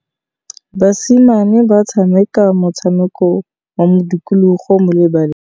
Basimane ba tshameka motshameko wa modikologô mo lebaleng.